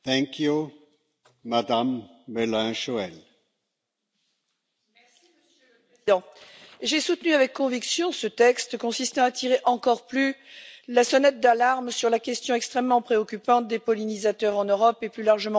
Monsieur le Président, j'ai soutenu avec conviction ce texte qui tire encore plus la sonnette d'alarme sur la question extrêmement préoccupante des pollinisateurs en Europe et, plus largement, dans le monde.